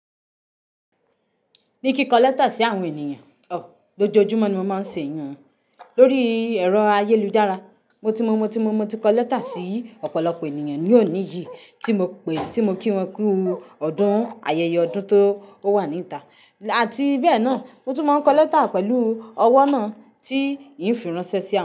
Ni kikọ lẹ́tà sí àwọn ènìyàn, ọ, lójoojúmọ́ ni mo máa ń ṣe ìyun lórí ẹ̀rọ ayélujára. Mo ti mo mo ti mo mo ti kọ lẹ́tà sí ọ̀pọ̀lọpọ̀ ènìyàn ní òní yìí tí mo pè tí mo kí wọn kú ọdún, ayẹyẹ ọdún tó ó wà ní ìta àti bẹ́ẹ̀ náà mo tún máa ń kọ lẹ́tà pẹ̀lú ọwọ́ náà tí ì ń fi ránṣẹ́ sí àwọn.